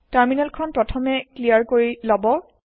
terminal খন প্ৰথমে clear কৰি লৱ